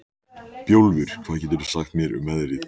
Guðmundína, hvernig er dagskráin í dag?